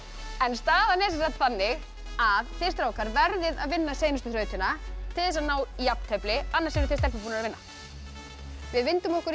staðan er þannig að þið strákar verðið að vinna seinustu þrautina til þess að ná jafntefli annars eruð þið stelpur búnar að vinna við vindum okkur í